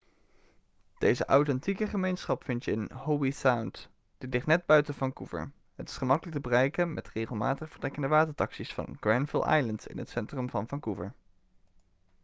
deze authentieke gemeenschap vind je in howe sound dit ligt net buiten vancouver het is gemakkelijk te bereiken met regelmatig vertrekkende watertaxi's van granville island in het centrum van vancouver